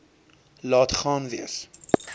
laat gaan wees